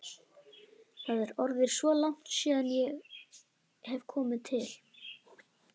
Það er orðið svo langt síðan ég hef komið til